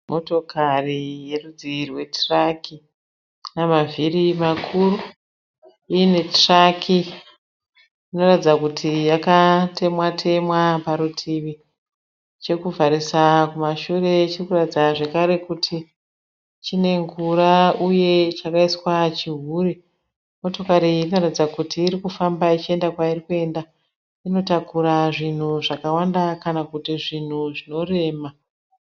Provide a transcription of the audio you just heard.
Moto yerudzi rwetiraki. Ina mavhiri makuru iine tiraki. Inoratidza kuti yakatemwa temwa paruti. Chekuvharisa kumashure chiri kuratidza zvakare kuiti chine ngura uye chakaiswa chihuri. Motokari inoratidza kuti iri kufamba ichienda kwairi kuenda. Inotakura zvinhu zvakawanda kana kuti zvinhu zvinorema.